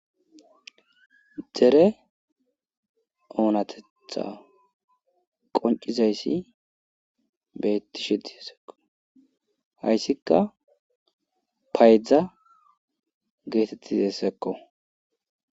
Dere oonatetha qoncizayssi beettishe dizesekko hayssikka paydzdza geetettizessekko.